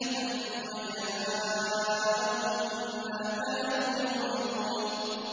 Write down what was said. ثُمَّ جَاءَهُم مَّا كَانُوا يُوعَدُونَ